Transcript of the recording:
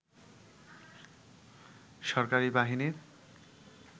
সরকারি বাহিনীর